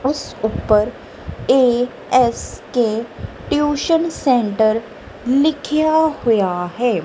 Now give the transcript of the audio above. ਇਸ ਉੱਪਰ A S K tuition centre ਲਿਖਿਆ ਹੋਇਆ ਹੈ।